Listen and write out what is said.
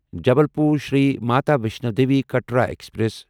Jabalpur Shri Mata Vaishno Devi Katra express